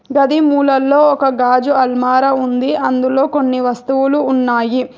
గది మూలల్లో ఒక గాజు అల్మారా ఉంది అందులో కొన్ని వస్తువులు ఉన్నాయి.